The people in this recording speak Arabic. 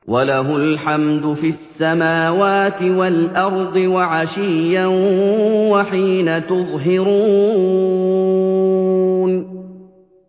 وَلَهُ الْحَمْدُ فِي السَّمَاوَاتِ وَالْأَرْضِ وَعَشِيًّا وَحِينَ تُظْهِرُونَ